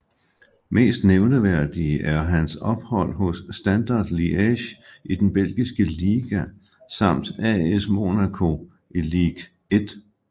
Mest nævneværdige er hans ophold hos Standard Liège i den belgiske liga samt AS Monaco i Ligue 1